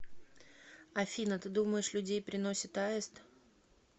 афина ты думаешь людей приносит аист